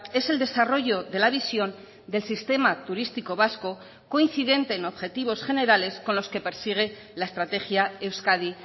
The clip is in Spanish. es el desarrollo de la visión del sistema turístico vasco coincidente en objetivos generales con los que persigue la estrategia euskadi